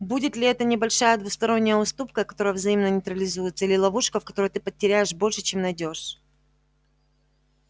будет ли это небольшая двусторонняя уступка которая взаимно нейтрализуется или ловушка в которой ты потеряешь больше чем найдёшь